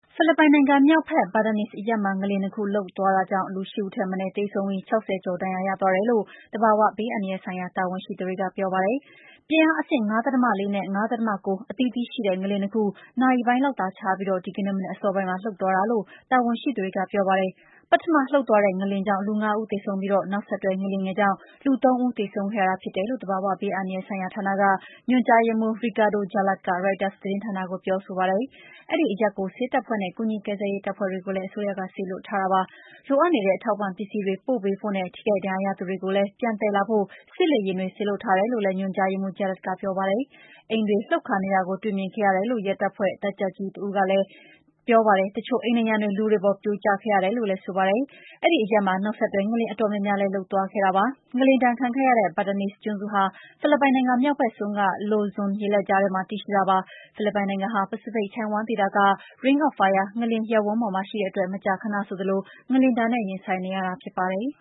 ဖိလစ်ပိုင်နိုင်ငံမြောက်ဘက် Batanes အရပ်မှာ ငလျင် နှစ် ခု လှုပ်သွားတာကြောင့် လူ ၈ ဦးထက်မနည်း သေဆုံးပြီး ၆၀ ကျော် ဒဏ်ရာ ရသွားတယ်လို့ သဘာဝဘေးအန္တရာယ်ဆိုင်ရာ တာဝန်ရှိသူတွေက ပြောပါတယ်။ ပြင်းအားအဆင့် ၅.၄ နဲ့ ၅.၉ အသီးသီးရှိတဲ့ ငလျင် နှစ် ခု နာရီပိုင်းလောက်သာ ခြားပြီး ဒီကနေ့ မနက်အစောပိုင်းမှာ လှုပ်သွားတာလို့ တာဝန်ရှိသူတွေက ပြောပါတယ်။ ပထမလှုပ်သွားတဲ့ ငလျင်ကြောင့် လူ ၅ ဦးသေဆုံးပြီး နောက်ဆက်တွဲ ငလျင်ငယ်ကြောင့် ၃ ဦးသေဆုံးခဲ့ရတာ ဖြစ်တယ်လို့ သဘာ၀ ဘေးအန္တရာယ်ဆိုင်ရာ ဌာနက ညွှန်ကြားရေးမှူး Ricardo Jalad က ရိုက်တာသတင်းဌာနကို ပြောဆိုခဲ့ပါတယ်။ အဲဒီအရပ်ကို ဆေးတပ်ဖွဲ့နဲ့ ကူညီကယ်ဆယ်ရေးတပ်ဖွဲ့တွေကိုလည်း အစိုးရက စေလွှတ်ထားပါတယ်။ လိုအပ်နေတဲ့ အထောက်အပံ့ပစ္စည်းတွေ ပို့ပေးဖို့နဲ့ ထိခိုက်ရာရသူတွေကိုလည်း ပြန်သယ်လာဖို့ စစ်လေယာဉ်တွေ စေလွှတ်ထားတယ်လို့လည်း ညွှန်ကြားရေးမှူး Ricardo Jalad ကပြောပါတယ်။ အိမ်တွေ လှုပ်ခါနေတာကို တွေ့မြင်ခဲ့ရတယ်လို့ ရဲတပ်ဖွဲ့က တပ်ကြပ်ကြီး Uzi Villa က AFP သတင်းဌာနကိုပြောပါတယ်။ တချို့အိမ်နံရံတွေ လူတွေအပေါ် ပြိုကျခဲ့တယ်လို့လည်း ပြောပါတယ်။ အဲဒီအရပ်မှာ နောက်ဆက်တွဲ ငလျင်ငယ်အတော်များများလည်း လှုပ်သွားခဲ့တာပါ။ ငလျင်ဒဏ်ခံခဲ့ရတဲ့ Batanes ကျွန်းစုဟာ ဖိလစ်ပိုင်နိုင်ငံ မြောက်ဘက်စွန်းက Lozon ရေလက်ကြားထဲမှာ တည်ရှိတာဖြစ်ပါတယ်။ ဖိလစ်ပိုင်နိုင်ငံဟာ ပစိဖိတ်ချိုင့်ဝှမ်းဒေသတလွှားက ring of fire လို့ခေါ်တဲ့ ငလျင်ရပ်ဝန်းပေါ်မှာ တည်ရှိတဲ့အတွက် မကြာခဏဆိုသလို ငလျင်ဒဏ်နဲ့ ရင်ဆိုင်နေရတာဖြစ်ပါတယ်